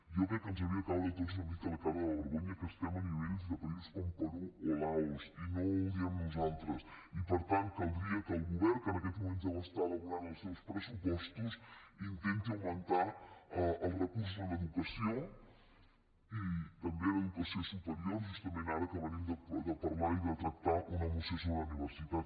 jo crec que ens hauria de caure a tots una mica la cara de vergonya que estem a nivells de països com perú o laos i no ho diem nosaltres i per tant caldria que el govern que en aquests moments deu estar elaborant els seus pressupostos intenti augmentar els recursos en educació i també en educació superior justament ara que venim de parlar i de tractar una moció sobre la universitat